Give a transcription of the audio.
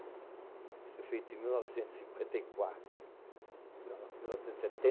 Isso foi feito em mil novecentos e cinquenta e quatro. Não, não mil novecentos e setenta...